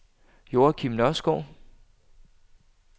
Joachim Nørskov